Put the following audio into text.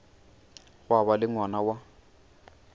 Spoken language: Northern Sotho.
gwa ba le ngwana wa